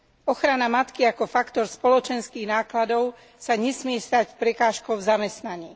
Ochrana matky ako faktor spoločenských nákladov sa nesmie stať prekážkou v zamestnaní.